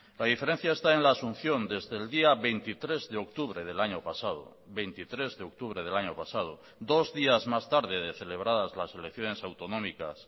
la diferencia está en la asunción desde el día veintitrés de octubre del año pasado veintitrés de octubre del año pasado dos días más tarde de celebradas las elecciones autonómicas